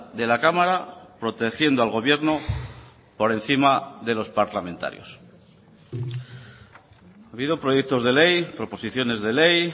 de la cámara protegiendo al gobierno por encima de los parlamentarios ha habido proyectos de ley proposiciones de ley